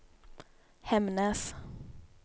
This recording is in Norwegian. Hemnes